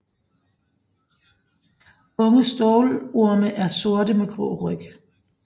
Unge stålorme er sorte med grå ryg